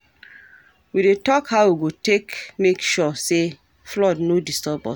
We dey tok how we go take make sure sey flood no disturb us.